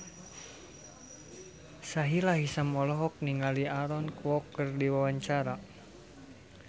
Sahila Hisyam olohok ningali Aaron Kwok keur diwawancara